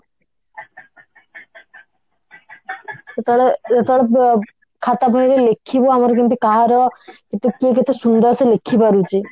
ସେତେବେଳେ ଯେତେବେଳେ ଅ ଖାତା ବହିରେ ଲେଖିବୁ ଆମେ କେମିତି କାହାର କିଏ କେତେ ସୁନ୍ଦର ସେ ଲେଖିପାରୁଛି